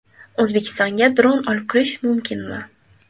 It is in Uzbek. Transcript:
O‘zbekistonga dron olib kirish mumkinmi?.